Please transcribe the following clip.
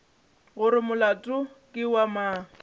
gore molato ke wa mang